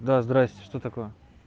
да здравствуйте что такое